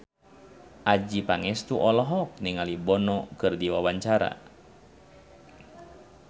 Adjie Pangestu olohok ningali Bono keur diwawancara